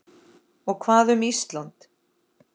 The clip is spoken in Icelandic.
Og hvað um Ísland?